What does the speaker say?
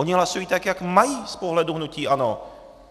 Oni hlasují tak, jak mají z pohledu hnutí ANO.